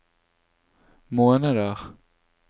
måneder